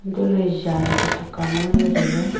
untohley jan chu thak kawma nganley tailey.